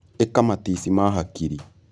ĩka matici ma hakiri